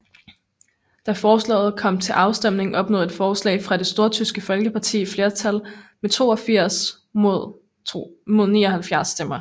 Da forslaget kom til afstemning opnåede et forslag fra det Stortyske Folkeparti flertal med 82 mod 79 stemmer